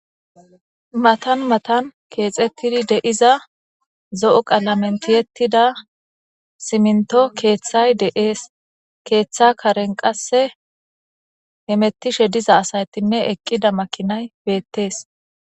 matan matan keexettidi deiza zo7o qalamentiyettida siminto keeththay deees keeththa karen qasse hemettishe diza asaytinne eqqida makinay beettees